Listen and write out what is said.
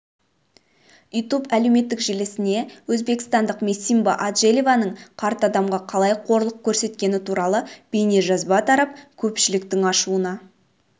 ютуб әлеуметтік желісіне өзбекстандық месимба аджелялованың қарт адамға қалай қорлық көрсеткені туралы бейнежазба тарап көпшіліктің ашуына